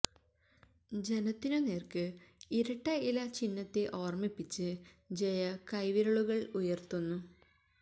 ജനത്തിനു നേര്ക്ക് ഇരട്ട ഇല ചിഹ്നത്തെ ഓര്മിപ്പിച്ച് ജയ കൈവിരലുകള് ഉയര്ത്തുന്നു